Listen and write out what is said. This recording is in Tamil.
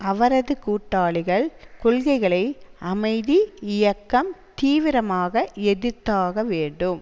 அவரது கூட்டாளிகள் கொள்கைகளை அமைதி இயக்கம் தீவிரமாக எதிர்த்தாக வேண்டும்